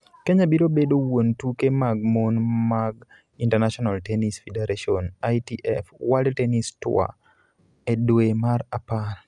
Kenya biro bedo wuon tuke mag mon mag International Tennis Federation (ITF) World Tennis Tour e dwe mar apar.